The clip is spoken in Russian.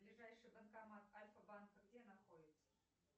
ближайший банкомат альфа банка где находится